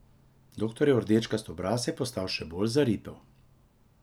Doktorjev rdečkasti obraz je postal še bolj zaripel.